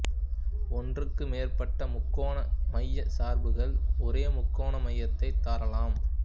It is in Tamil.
ஒன்றுக்கு மேற்பட்ட முக்கோண மையச் சார்புகள் ஒரே முக்கோண மையத்தைத் தரலாம்